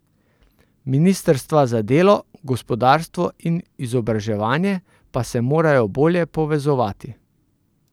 Ministrstva za delo, gospodarstvo in izobraževanje pa se morajo bolje povezovati.